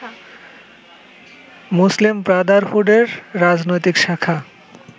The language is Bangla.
মুসলিম ব্রাদারহুডের রাজনৈতিক শাখা